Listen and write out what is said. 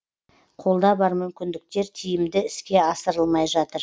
қолда бар мүмкіндіктер тиімді іске асырылмай жатыр